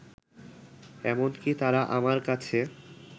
এমনকি তারা আমার কাছে